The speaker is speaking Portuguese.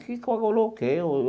Que coagulou o quê?